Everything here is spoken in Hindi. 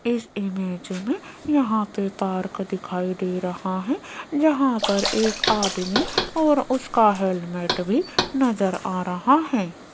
इस इमेज मे यहां पे पार्क दिखाई दे रहा है यहां पर एक आदमी और उसका हेलमेट भी नजर आ रहा है।